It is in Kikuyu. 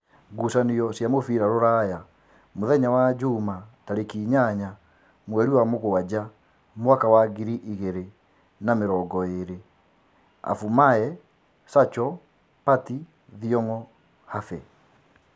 Ngucanio cia mũbira Ruraya Jumamothi mweri inyanya wa mũgwanja mwaka wa ngiri igĩrĩ na namĩrongoĩrĩ: Abumaye, Zacho, Pati, Thiong'o, Have